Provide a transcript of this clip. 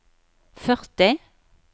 førti